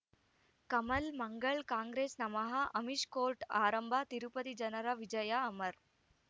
Kamal Mangal Congress ನಮಃ Amish court ಆರಂಭ ತಿರುಪತಿ ಜನರ ವಿಜಯ ಅಮರ್